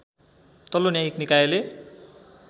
तल्लो न्यायिक निकायले